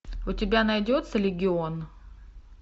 у тебя найдется легион